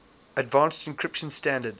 advanced encryption standard